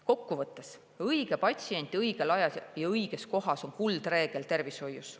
Kokkuvõttes: õige patsient õigel ajal ja õiges kohas on kuldreegel tervishoius.